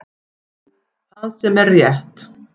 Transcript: Það sem er rétt